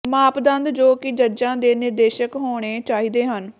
ਮਾਪਦੰਡ ਜੋ ਕਿ ਜੱਜਾਂ ਦੇ ਨਿਰਦੇਸ਼ਕ ਹੋਣੇ ਚਾਹੀਦੇ ਹਨ